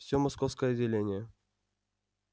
всё московское отделение